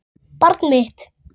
Barn mitt.